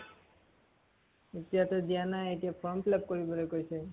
এতিয়াটো দিয়া নাই । এতিয়া form fill-up কৰিবলৈ কৈছে।